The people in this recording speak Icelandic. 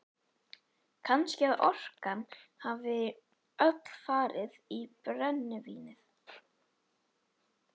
Kannski að orkan hafi öll farið í brennivínið.